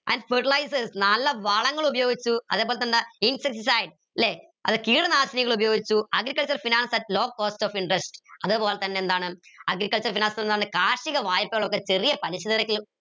and fertilizers നല്ല വളങ്ങൾ ഉപയോഗിച്ചു അതുപോലെതന്നെ എന്താ ല്ലെ കീടനാശിനികൾ ഉപയോഗിച്ചു agriculture finance at low cost of interest അതേപോലെതന്നെ എന്താണ് agriculture finance എന്താണ് കാർഷിക വായ്പകൾ ഒക്കെ ചെറിയ പലിശ നിരക്കിൽ